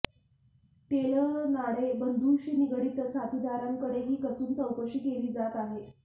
तेलनाडे बंधूंशी निगडित साथीदारांकडेही कसून चौकशी केली जात आहे